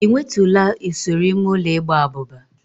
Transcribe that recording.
Ị nwetụla usoro ime ụlọ igba abụba?